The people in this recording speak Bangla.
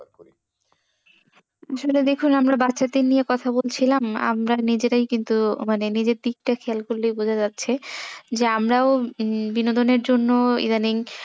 ভেবে দেখুন আমরা বাচ্ছাদের নিয়ে কথা বলছিলাম আমরা নিজেরাই কিন্তু মানে নিজের দিকটা খেয়াল করলেই বোঝা যাচ্ছে যে আমরাও বিনোদনের জন্য ইদানিং